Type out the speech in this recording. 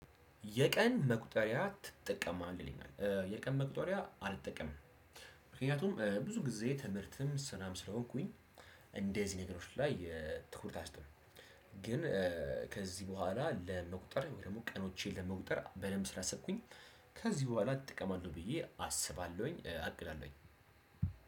የቀን መቁጠሪያ ትጠቀማለህ? የቀን መቁጠሪያ አልጠቀምም። ምክንያቱም ብዙ ጊዜ ትምህርትም ስራም ስለሆንኩኝ እንደዚህ ነገሮች ላይ ትኩረት አልሰጠውም። ግን ከዚህ በኋላ ለመቁጠር ወይ ደግሞ ቀኖቼን ለመቁጠር በደንብ ስላ ሰብኩኝ። ከዚህ በኋላ ጥቅም አለው ብዬ አስባለሁኝ አቅዳለሁኝ።